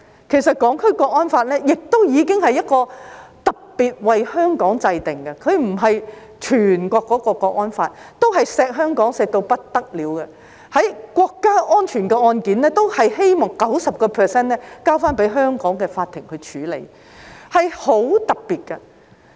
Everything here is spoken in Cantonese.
其實，《香港國安法》已是特別為香港制定的，它並非全國適用的那條國安法，對香港已疼惜到不得了，就涉及國家安全的案件，均希望 90% 交由香港法庭處理，是很特別的。